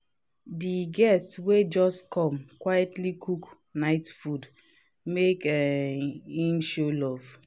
di guest wey just come quietly cook night food make um him show love.